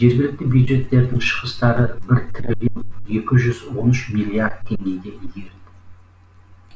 жергілікті бюджеттердің шығыстары бір триллион екі жүз он үш миллиард теңгеге игерілді